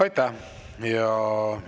Aitäh!